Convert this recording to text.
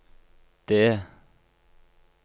det